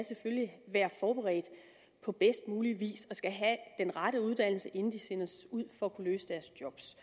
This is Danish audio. være forberedte på bedst mulig vis og skal have den rette uddannelse inden de sendes ud for at kunne løse deres